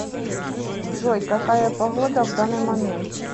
джой какая погода в данный момент